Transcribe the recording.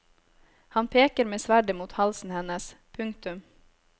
Han peker med sverdet mot halsen hennes. punktum